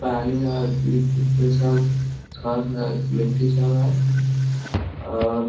पानी हय बीच-बीच में सब थोड़ा-थोड़ा मिट्टी सब है और --